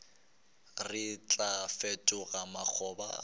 re tlo fetoga makgoba a